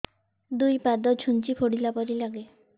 ଦୁଇ ପାଦ ଛୁଞ୍ଚି ଫୁଡିଲା ପରି ଲାଗେ